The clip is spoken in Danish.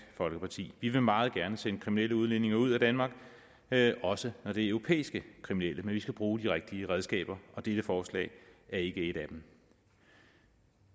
folkeparti at vi meget gerne vil sende kriminelle udlændinge ud af danmark også når det er europæiske kriminelle men vi skal bruge de rigtige redskaber og dette forslag er ikke et af dem